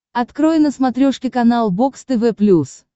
открой на смотрешке канал бокс тв плюс